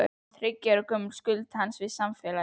Þriggja ára gömul skuld hans við samfélagið.